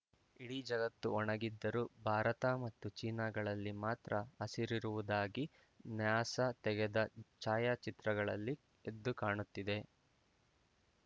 ಇಡೀ ಜಗತ್ತು ಒಣಗಿದ್ದರೂ ಭಾರತ ಮತ್ತು ಚೀನಾಗಳಲ್ಲಿ ಮಾತ್ರ ಹಸಿರಿರುವುದು ನ್ಯಾಸಾ ತೆಗೆದ ಛಾಯಾಚಿತ್ರಗಳಲ್ಲಿ ಎದ್ದು ಕಾಣುತ್ತಿದೆ